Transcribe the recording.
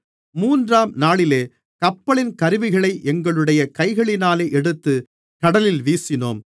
மூன்றாம்நாளிலே கப்பலின் கருவிகளை எங்களுடைய கைகளினாலே எடுத்து கடலில் வீசினோம்